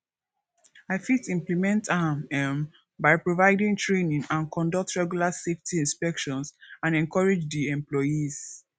i fit implement am um by providing training and conduct regular safety inspections and encourage di employees